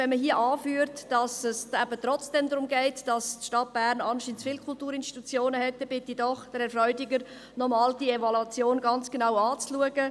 Wenn man hier anführt, es gehe trotzdem darum, dass die Stadt Bern anscheinend zu viele Kulturinstitutionen hat, bitte ich Herrn Freudiger, die Evaluation noch einmal ganz genau zu betrachten.